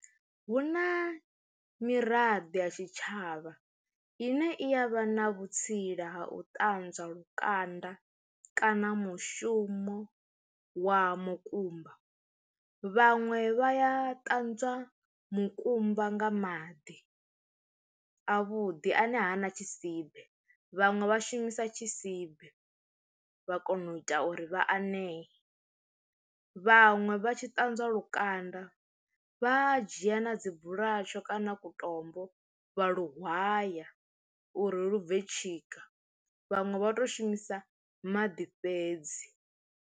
Hu na miraḓo ya tshitshavha ine iya vha na vhutsila ha u ṱanzwa lukanda kana mushumo wa mukumba, vhaṅwe vha ya ṱanzwa mukumba nga maḓi avhuḓi ane hana tshisibe, vhaṅwe vha shumisa tshisibe vha kona u ita uri vha anea, vhaṅwe vha tshi ṱanzwa lukanda vha dzhia na dzi bulatsho kana ku tombo vha luwhaya uri lu bve tshika vhaṅwe vha to shumisa maḓi fhedzi.